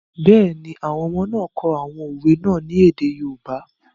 Bẹ́ẹ̀ni, àwọn ọmọ náà kọ àwọn òwe náà ní èdè yoòbá